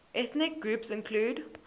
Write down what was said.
ethnic groups include